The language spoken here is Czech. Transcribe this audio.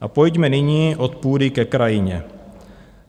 A pojďme nyní od půdy ke krajině.